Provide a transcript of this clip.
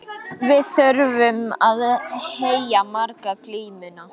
Við þurftum að heyja marga glímuna.